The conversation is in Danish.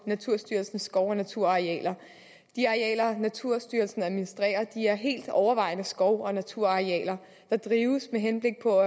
naturstyrelsens skov og naturarealer de arealer naturstyrelsen administrerer er helt overvejende skov og naturarealer der drives med henblik på